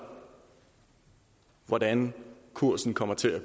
hvordan kursen kommer til at